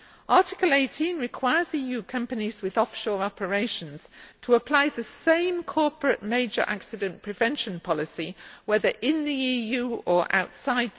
Article 18 requires EU companies with offshore operations to apply the same corporate major accident prevention policy, whether in the EU or outside.